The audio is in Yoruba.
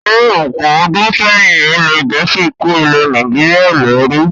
Ní ọ̀pọ̀ ọdún sẹ́yìn, ilẹ̀ Gẹ̀ẹ́sì ko ilẹ̀ Nàìjíríà lẹru